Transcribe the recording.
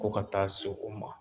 Ko ka taa se o ma